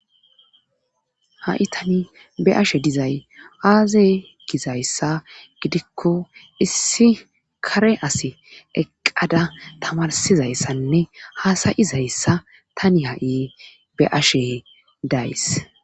ha7i tani be ashe dizay aaze gizayssa gidikko issi kare asi eqqada tamarsizayssanne haasayizayssa tani ha7i be ashe days